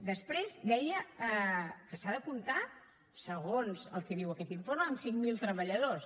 després deia que s’ha de comptar segons el que diu aquest informe amb cinc mil treballadors